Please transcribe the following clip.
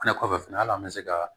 Fɛnɛ kɔfɛ fɛnɛ ali an mɛ se ka